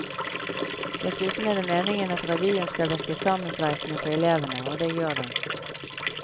Dessuten er det meningen at revyen skal virke sammensveisende på elevene, og det gjør den.